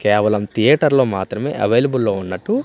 కేవలం థియేటర్లో మాత్రమే అవైలబుల్లో ఉన్నట్టు--